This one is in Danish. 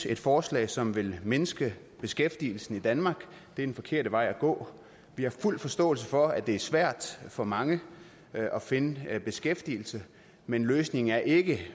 et forslag som vil mindske beskæftigelsen i danmark det er den forkerte vej at gå vi har fuld forståelse for at det er svært for mange at finde beskæftigelse men løsningen er ikke